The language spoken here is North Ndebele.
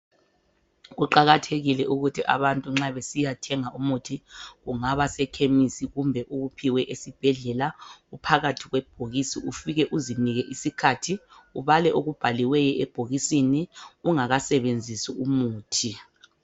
Kuqakathekile ukuthi abantu nxa besiya thenga umuthi kungaba sekhemisi kumbe uwuphiwe esibhedlela uphakathi kwebhokisi ufike uzinike isikhathi ubale okubhaliweyo ebhokisini ungakasebenzisi umuthi.